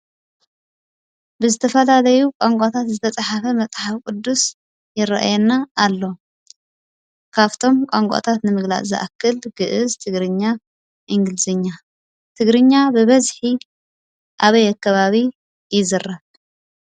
ብዝተፈላለዩ ቋንቋታት ዝተፅሓፉ መፅሓፍ ቅዱስ ይረኣየና ኣሎ ።ካብቶም ቋንቋታት ንምግላጽ ዝኣክል ግእዝ፣ ትግርኛ፣ እንግሊዘኛ፣ ትግርኛ ብበዝሒ ኣበይ ከባቢ ይዝረብ ?